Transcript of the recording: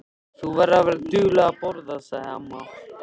Þú verður að vera dugleg að borða, sagði amma.